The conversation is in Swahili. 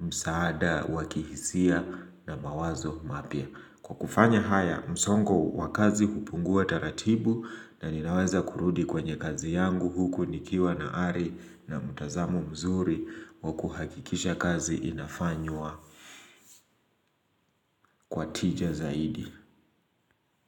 msaada wa kihisia na mawazo mapya kwa kufanya haya msongo wa kazi hupungua taratibu na ninaweza kurudi kwenye kazi yangu huku nikiwa na ari na mtazamo mzuri wa kuhakikisha kazi inafanywa kwa tija zaidi.